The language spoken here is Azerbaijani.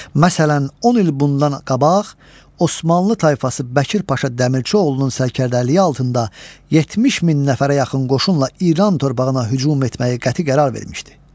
Məsələn, 10 il bundan qabaq Osmanlı tayfası Bəkir paşa Dəmirçioğlunun sərkərdəliyi altında 70 min nəfərə yaxın qoşunla İran torpağına hücum etməyi qəti qərar vermişdi.